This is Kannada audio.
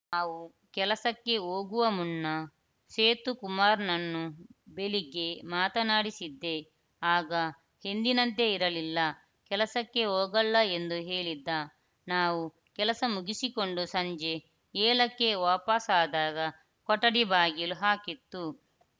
ನಾವು ಕೆಲಸಕ್ಕೆ ಹೋಗುವ ಮುನ್ನ ಸೇತುಕುಮಾರ್‌ನನ್ನು ಬೆಳಿಗ್ಗೆ ಮಾತನಾಡಿಸಿದ್ದೆ ಆಗ ಎಂದಿನಂತೆ ಇರಲಿಲ್ಲ ಕೆಲಸಕ್ಕೆ ಹೋಗಲ್ಲ ಎಂದು ಹೇಳಿದ್ದ ನಾವು ಕೆಲಸ ಮುಗಿಸಿಕೊಂಡು ಸಂಜೆ ಏಳಕ್ಕೆ ವಾಪಸಾದಾಗ ಕೊಠಡಿ ಬಾಗಿಲು ಹಾಕಿತ್ತು